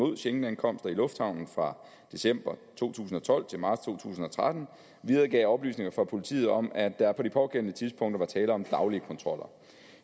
schengenankomster i lufthavnen fra december to tusind og tolv til marts to tusind og tretten videregav oplysninger fra politiet om at der på det pågældende tidspunkt var tale om daglige kontroller